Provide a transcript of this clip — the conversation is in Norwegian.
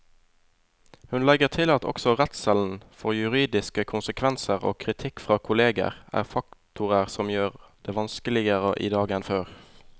Hun legger til at også redselen for juridiske konsekvenser og kritikk fra kolleger er faktorer som gjør det vanskeligere i dag enn før.